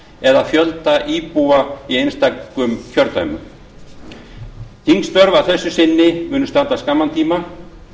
eða fjölda íbúa einstakra kjördæma þingstörf að þessu sinni munu standa skamman tíma